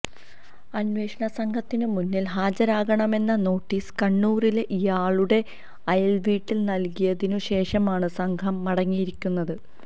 അന്വേഷണ സംഘത്തിനു മുന്നിൽ ഹാജരാകണമെന്ന നോട്ടീസ് കണ്ണൂരിലെ ഇയാളുടെ അയൽവീട്ടിൽ നൽകിയതിനു ശേഷമാണ് സംഘം മടങ്ങിയിരിക്കുന്നത്